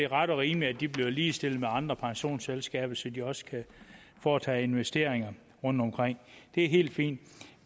ret og rimeligt at de bliver ligestillet med andre pensionsselskaber så de også kan foretage investeringer rundtomkring det er helt fint